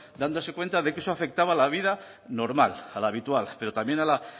dándose cuenta de que eso afectaba a la vida normal a la habitual pero también a la